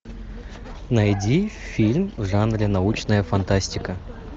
найди фильм в жанре научная фантастика